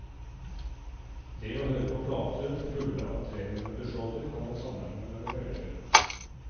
Det å høre på plater, fulle av treminutters låter, kan man sammenligne med noveller.